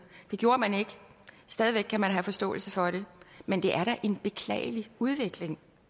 det gjorde man ikke stadig væk kan man have forståelse for det men det er da en beklagelig udvikling